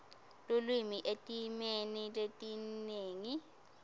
lulwimi etimeni letinengi